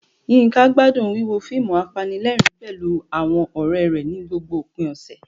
Yinka gbádùn wíwo fíìmù apanilẹ́rìn-ín pẹ̀lú àwọn ọ̀rẹ́ rẹ̀ ní gbogbo òpin ọ̀sẹ̀.